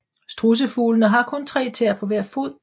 Strudsefuglene har kun tre tæer på hver fod